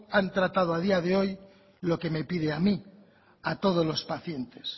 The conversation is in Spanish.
han tratado a día de hoy lo que me pide a mí a todos los pacientes